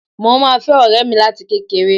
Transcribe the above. Mo máa fẹ́ ọ̀rẹ́ mi láti kékeré